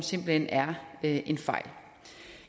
simpelt hen er en fejl